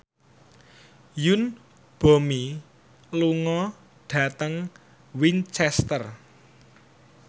Yoon Bomi lunga dhateng Winchester